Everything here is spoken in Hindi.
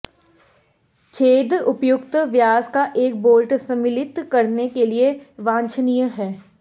छेद उपयुक्त व्यास का एक बोल्ट सम्मिलित करने के लिए वांछनीय है